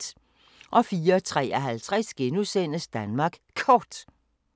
04:53: Danmark Kort *